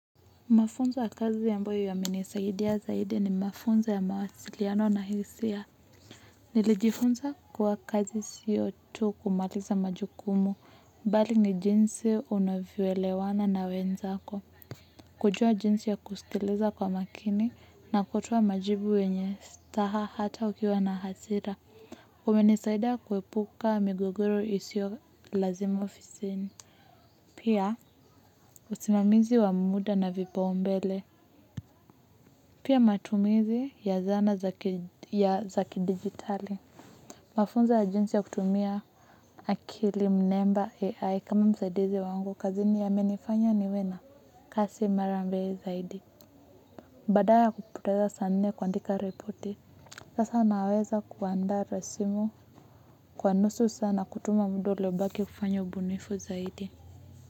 Mafunzo ya kazi ambayo ya menisaidia zaidi ni mafunza ya mawasiliano na hizia. Nilijifunza kuwa kazi siyotu kumaliza majukumu, mbali ni jinsi unavyoelewana na wenzako. Kujua jinsi ya kusikiliza kwa makini, na kutoa majibu yenye staha hata ukiwa na hasira. Umenisaidia kuepuka migogoro isio lazima ofisini. Pia usimamizi wa muda na vipau mbele. Pia matumizi ya zana zaki digitali. Mafunza yajinsi ya kutumia akili mnemba AI kama msaidizi wangu. Kazini ya menifanya niwena kasi marambe zaidi. Badaya kuputeza saa nne kuandika ripoti. Sasa naweza kuanda resimu kwa nusu saana kutuma mdole ubaki kufanya ubunifu zaidi.